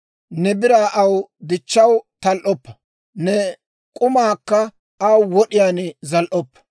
Ne biraa aw dichchaw tal"oppa; ne k'umaakka aw wod'iyaan zal"oppa.